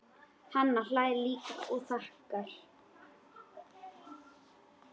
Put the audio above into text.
Hann hlær líka og þakkar.